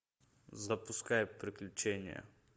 запускай приключения